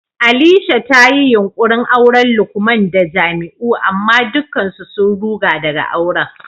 Alisha ta yi yunkurin auran Lukman da Jamiu amma dukkan su sun ruga daga auren.